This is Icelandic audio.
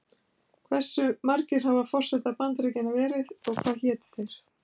Hve margir hafa forsetar Bandaríkjanna verið og hvað hétu þeir?